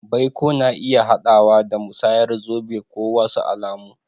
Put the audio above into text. Baiko na iya haɗawa da musayar zobe ko wasu alamu.